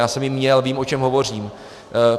Já jsem ji měl, vím, o čem hovořím.